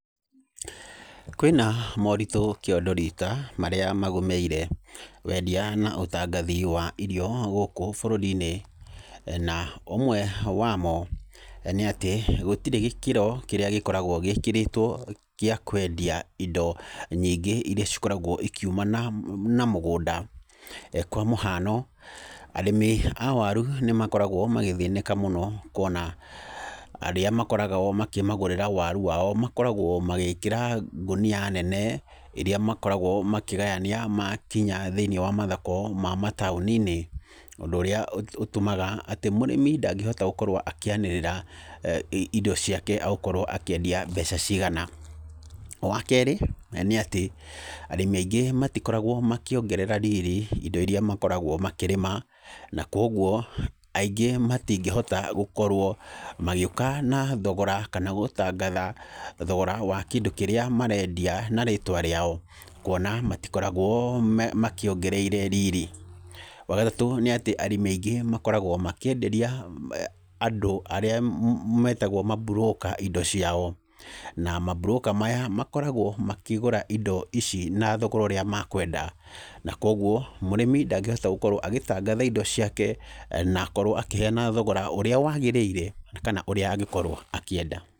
Kwĩna moritũ kĩondo rita marĩa magũmĩire wendia na ũtangathi wa irio gũkũ bũrũri-inĩ, na ũmwe wamo nĩ atĩ gũtirĩ gĩkĩro kĩrĩa gĩkoragwo gĩkĩrĩtwo gĩa kwendia indo nyingĩ iria cikoragwo ikiuma na na mũgũnda kwa mũhano, arĩmi a waru nĩmakoragwo magĩthĩnĩka mũno kwona arĩa makoraga o makĩmagũrĩra waru wao makoragwo magĩĩkĩra ngũnia nene iria makoragwo makĩgayania makinya thĩini wa mathoko ma mataũni-inĩ, ũndũ ũrĩa ũ ũtũmaga atĩ mũrĩmi ndangĩhota gũkorwo akĩanĩrĩra i indo ciake egũkorwo akĩendia mbeca cigana. Wakerĩ nĩ atĩ arĩmi aingĩ matikoragwo makĩongerera riri ĩndo iria makoragwo makĩrĩma, na kwoguo aingĩ matingĩhota gũkorwo magĩũka na thogora kana gũtangatha thogora wa kĩndũ kĩrĩa marendia na rĩtwa rĩao kwona matikoragwo me makĩongereire riri. Wagatatũ nĩ atĩ arĩmi aingĩ makoragwo makĩenderia andũ a arĩa me metagwo maburũka indo ciao, na maburũka maya makoragwo makĩgũra indo ici na thogora ũrĩa makwenda, na kwoguo mũrĩmi ndangĩhota gũkorwo agĩtangatha indo ciake na akorwo akĩheana thogora ũrĩa wagĩrĩire kana ũrĩa angĩkorwo akĩenda.